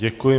Děkuji.